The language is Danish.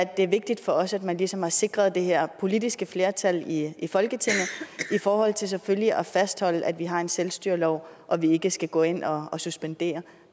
det er vigtigt for os at man ligesom har sikret det her politiske flertal i i folketinget i forhold til selvfølgelig at fastholde at vi har en selvstyrelov og at vi ikke skal gå ind og og suspendere